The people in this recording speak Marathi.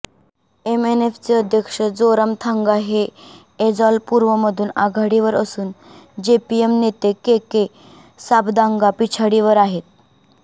एमएनएफचे अध्यक्ष जोरामथांगा हे एजॉल पूर्वमधून आघाडीवर असून जेपीएम नेते केके सापदांगा पिछाडीवर आहेत